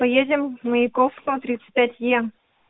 поедем маяковского тридцать пять е